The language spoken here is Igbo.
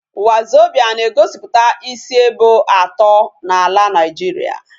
Wazobia na egosiputa isi ebo ato na ala Nigeria